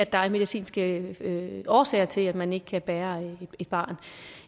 der er medicinske årsager til at man ikke kan bære et barn